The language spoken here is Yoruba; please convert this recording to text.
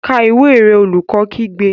Ka ìwé rẹ! Olùkọ́ kígbe.